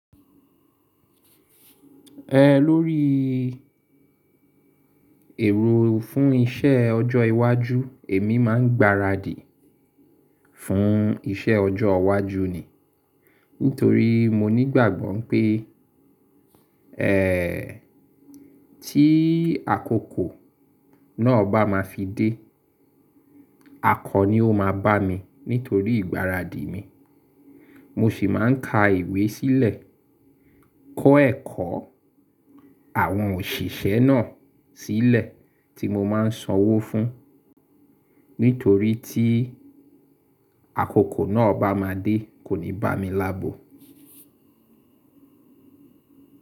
Ẹ lórí èrò fún iṣẹ́ ọjọ́ iwájú, èmi máa ń gbaradì fún iṣẹ́ ọjọ́ iwájú ni. Nítorí mo nígbàgbọ́ pé, ẹ́, tí àkókò náà bá máa fi dé, akọ ni ó máa bá mi nítorí ìgbáradì mi. Mo sì máa ń ka ìwé sílẹ̀, kọ́ ẹ̀kọ́ àwọn òṣìṣẹ́ náà sílẹ̀ tí mo máa ń sanwó fún. Nítorí tí àkókò náà bá máa dé kò ní bá mi lábo.